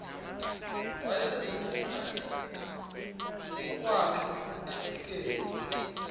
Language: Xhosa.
wayeziphuthume ngokwakhe edikeni